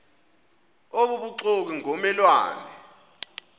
obubuxoki ngomme lwane